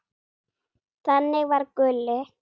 Þannig var Gulli.